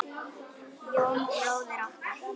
Jón bróðir okkar.